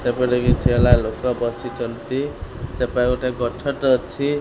ସେପଟେ କିଛି ହେଲା ଲୋକ ବସିଛନ୍ତି ସେପାଖେ ଗୋଟେ ଗଛ ଟେ ଅଛି।